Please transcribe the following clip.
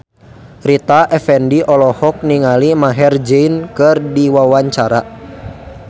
Rita Effendy olohok ningali Maher Zein keur diwawancara